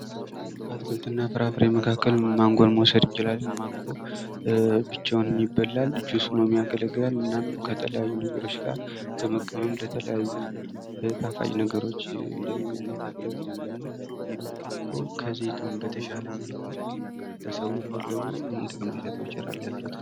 ከአትክልትና ፍራፍሬ መካከል ማንጎን መዉሰድ እንችላለን ማንጎ ብቻውንም ይበላል ጁስም ሆኖ ያገለግላል እናም ከተለያዩ ነገሮች ጋር በመቀመም ጣፋጭ ነገሮች እንደ ምግብነት ያገለገለናል ና ማንጎ ከዘይታወን በተሻለ መልኩ ህብረተሰቡ የሚፈልገውን ጥቅም ቢሰጥ ይችላል ::